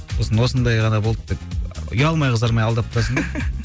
сосын осындай ғана болды деп ұялмай қызармай алдап тұрасың да